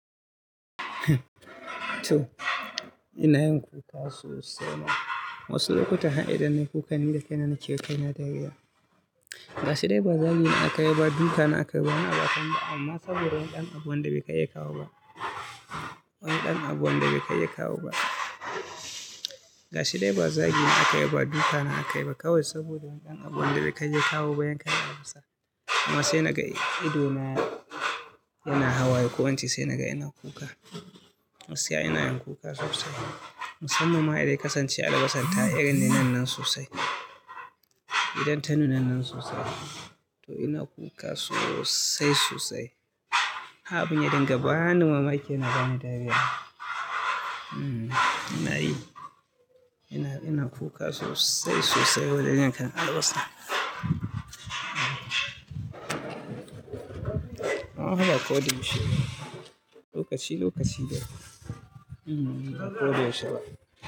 To ina yin kuka sosai ma. Wasu lokuta har idan nayi kukan ni da kai na nakewa kai na dariya. Gashi dai ba zagi na aka yi ba, duka na aka yi ba, ba wani abu aka min ba amma saboda wani ɗan abu wanda bai kai ya kawo ba. Wani ɗan abu wanda bai kai ya kawo ba. Gashi dai ba zagi na aka yi ba, duka na aka yi ba kawai saboda wani ɗan abu wanda bai kai ya kawo ba, yan kai ya tafasa. Amma sai na ga ido na yana hawaye ko ince sai na ga ina kuka. Gaskiya ina yin kuka sosai. Musamman ma idan ya kasance albasa ta irin nunan nan sosai. Idan ta nuna nan sosai. To ina kuka sosai sosai. Abun ya dinga bani mamaki, yana bani dariya. Hmm nayi. Ina, ina kuka sosai sosai wajen yan kan albasa. Amma fa ba ko da yaushe bane. Lokaci lokaci dai. Amma bako da yaushe ba.